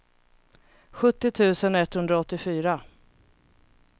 sjuttio tusen etthundraåttiofyra